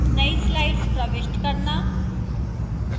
नई slides प्रविष्ट करना